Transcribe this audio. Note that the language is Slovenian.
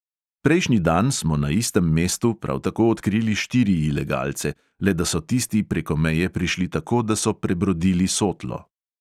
Prejšnji dan smo na istem mestu prav tako odkrili štiri ilegalce, le da so tisti preko meje prišli tako, da so prebrodili sotlo.